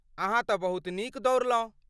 अहाँ तँ बहुत नीक दौड़लहुँ।